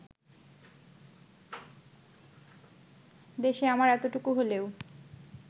দেশে আমার এতটুকু হলেও